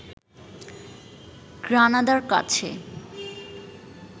গ্রানাদার কাছে